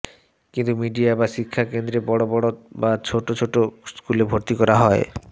কিন্তু মিডিয়া বা শিক্ষা কেন্দ্রে বড় বড় বা ছোট ছোট স্কুলে ভর্তি করা হয়